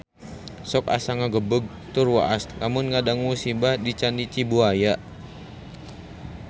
Sok asa ngagebeg tur waas lamun ngadangu musibah di Candi Cibuaya